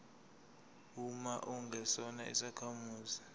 uma ungesona isakhamuzi